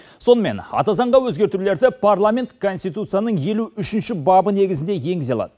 сонымен ата заңға өзгертулерді парламент конституцияның елу үшінші бабы негізінде енгізе алады